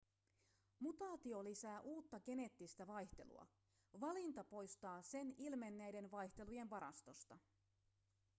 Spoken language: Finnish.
mutaatio lisää uutta geneettistä vaihtelua valinta poistaa sen ilmenneiden vaihtelujen varastosta